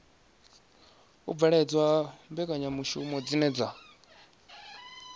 bveledzwa ha mbekanyamishumo dzine dza